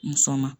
Muso ma